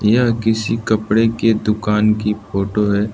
यह किसी कपड़े की दुकान की फोटो है।